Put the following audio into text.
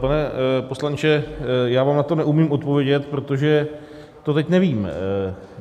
Pane poslanče, já vám na to neumím odpovědět, protože to teď nevím.